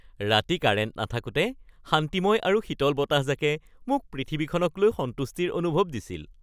ৰাতি কাৰেণ্ট নাথাকোতে শান্তিময় আৰু শীতল বতাহজাকে মোক পৃথিৱীখনক লৈ সন্তুষ্টিৰ অনুভৱ দিছিল।